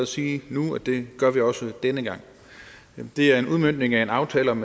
sige nu at det gør vi også denne gang det er en udmøntning af en aftale om